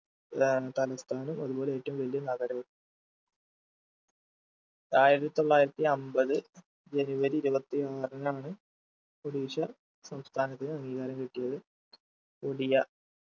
ഏർ തലസ്ഥാനം അതുപോലെ ഏറ്റവും വലിയ നഗരവും ആയിരത്തി തൊള്ളായിരത്തി അമ്പത് ജനുവരി ഇരുപത്തി ആറിനാണ് ഒഡീഷ സംസ്ഥാനത്തിന് അംഗീകാരം കിട്ടിയത് ഒഡിയ